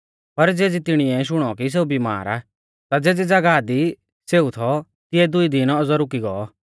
पर ज़ेबी तिणीऐ शुणौ कि सेऊ बिमार आ ता ज़ेज़ी ज़ागाह दी सेऊ थौ तिऐ दुई दिन औज़ौ रुकी गौ